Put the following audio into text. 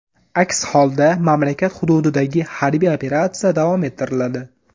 Aks holda, mamlakat hududidagi harbiy operatsiya davom ettiriladi.